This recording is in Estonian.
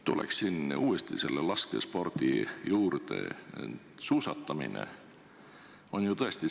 Tuleksin uuesti laskespordi juurde.